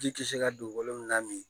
Ji ti se ka don wolonwula min